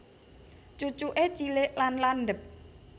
Cucuke cilik lan landhep